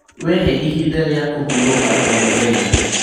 Wĩhe ihinda rĩa kũhurũka o mũthenya.